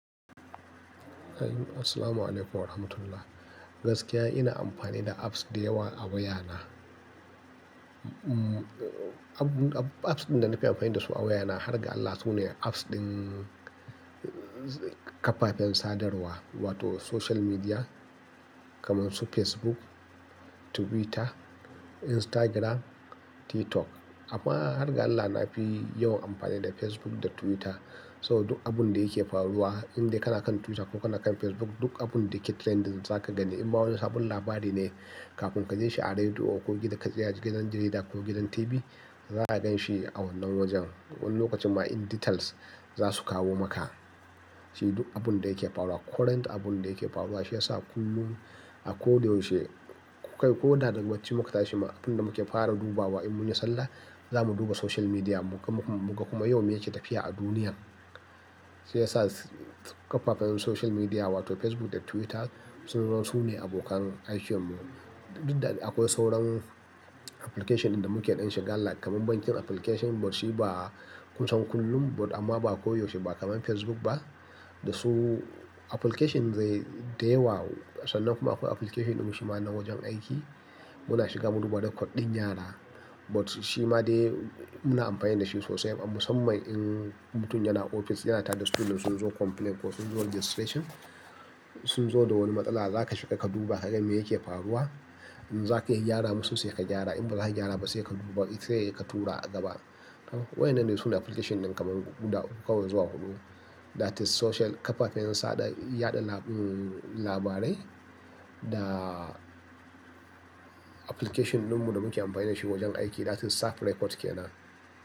Eh, Assalamualaikum Warahmatullah. Gaskiya ina amfani da apps da yawa a wayana. Mm, app, app, apps ɗin da nafi amfani da su a wayana har ga Allah su ne apps ɗin ƙafafen sadarwa wato social media, kamar su Facebook, Twitter, Instagram, TikTok. Amma har ga Allah na fi yawan amfani da Facebook da Twitter. So duk abun da yake faruwa, indai kana kan Twitter ko kana kan Facebook, duk abun da yake trending zaka gani. In ma wani sabon labari ne, kafin ka ji shi a rediyo ko gida ka ji a gidan jarida ko gidan TV, za a gan shi a wannan wajen. Wani lokacin ma in details za su kawo maka. Shi duk abun da yake faruwa, current abun da yake faruwa shi ya sa kullum a ko da yaushe, kai ko da ga barci muka tashi ma abun da muke fara dubawa in mun yi sallah, za mu duba social media mu muga, muga kuma yau me yake tafiya a duniya. Shi ya sa ƙafafen social media wato Facebook da Twitter su ne, su ne abokan aikin mu. Duk da akwai sauran application ɗin da muke ɗan shiga, ga like kamar bankin application but shi ba ku san kullum but amma ba koyaushe ba kamar Facebook ba. Da su application dai, da yawa. Sannan kuma akwai application ɗin mu shima na wajen aiki. Muna shiga mu duba recode ɗin yara. But shi ma dai muna amfani da shi sosai a musamman in mutum yana ofis, yana tareda student da sun zo complaint ko sun zo registration, sun zo da wani matsala, za ka shiga ka duba ka ga me yake faruwa. In za ka iya gyara musu sai ka gyara. In ba za ka iya gyara ba, sai ka duba, sai ka tura a gaba. Haka. Waɗannan ne su ne application ɗin kamar guda uku kawai zuwa huɗu. That is social ƙafafen saɗa, yaɗa, um, labarai da application ɗinmu da muke amfani da shi wajen aiki that is staff report ke nan.